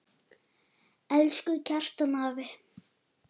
Elsku Kjartan afi.